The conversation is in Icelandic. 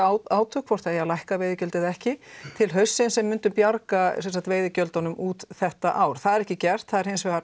átökum hvort það eigi að lækka veiðigjöld eða ekki til haustsins en myndum bjarga veiðigjöldunum út þetta ár það er ekki gert það er